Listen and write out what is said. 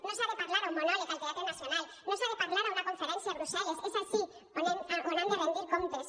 no s’ha de parlar en un monòleg al teatre nacional no s’ha de parlar en una conferència a brussel·les és ací on han de rendir comptes